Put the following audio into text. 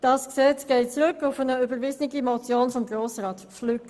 Das Gesetz geht zurück auf eine überwiesene Motion von Grossrat Flück.